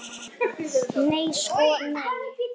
Nei sko nei.